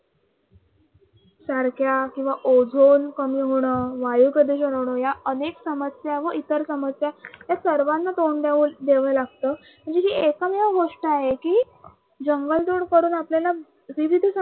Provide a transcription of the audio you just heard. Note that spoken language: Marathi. सारख्या किंवा ओझोन कमी होणं, वायू प्रदूषण होणं या अनेक समस्या व इतर समस्या या सर्वांना तोंड द्याव लागतं. म्हणून ही एकमेव गोष्ट आहे कि जंगल तोड करून आपल्याला विविध